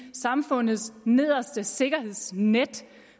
samfundets yderste sikkerhedsnet